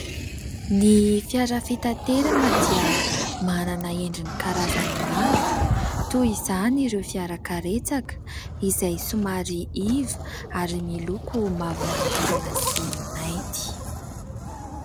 Ny fiara fitaterana dia manana endriny karazany maro toy izany ireo fiara karetsaka izay somary iva ary miloko mavo mangirana sy mainty.